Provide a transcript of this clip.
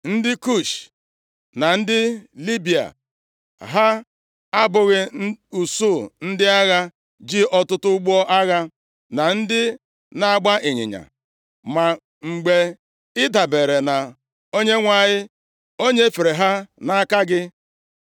Ndị Kush na ndị Libịa, ha abụghị usuu ndị agha ji ọtụtụ ụgbọ agha, na ndị na-agba ịnyịnya? Ma mgbe ị dabeere na Onyenwe anyị, o nyefere ha nʼaka gị.